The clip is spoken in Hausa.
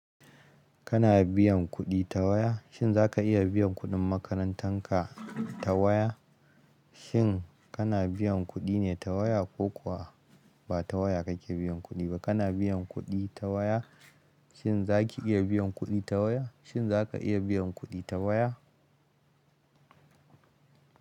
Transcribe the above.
Kana biyan kuɗi ta waya? Shin za ka iya biyan kuɗin makarantar ka ta waya? Shin kana biyan kuɗi ne ta waya ko kuwa ba ta waya kake biyan kuɗi ba? Kana biyan kuɗi ta waya? Shin za ki iya biyan kuɗi ta waya? Shin za ka iya biyan kuɗi ta waya?